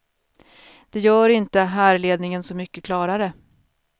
Det gör inte härledningen så mycket klarare.